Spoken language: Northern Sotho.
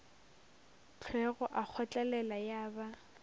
hlwego a kgotlelela ya ba